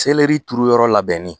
Seleri turu yɔrɔ labɛnnen